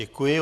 Děkuji.